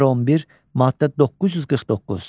Nömrə 11, maddə 949.